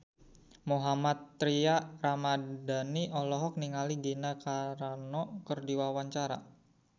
Mohammad Tria Ramadhani olohok ningali Gina Carano keur diwawancara